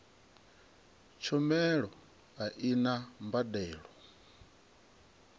tshumelo a i na mbadelo